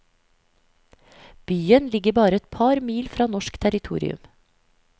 Byen ligger bare et par mil fra norsk territorium.